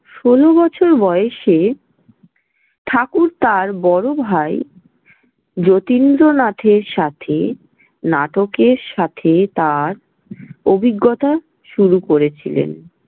ষোল বছর বয়সে ঠাকুর তাঁর বড় ভাই যতীন্দ্রনাথের সাথে নাটকের সাথে তার অভিজ্ঞতা শুরু করেছিলেন।